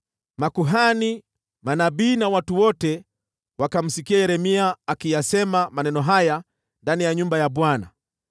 Makuhani, manabii na watu wote wakamsikia Yeremia akiyasema maneno haya ndani ya nyumba ya Bwana .